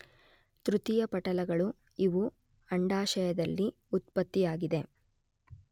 ತೃತೀಯ ಪಟಲಗಳು, ಇವು ಅಂಡಾಶಯದಲ್ಲಿ ಉತ್ಪತ್ತಿಯಾಗದೆ